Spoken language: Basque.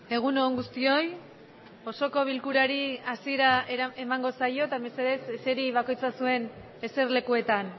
gaurko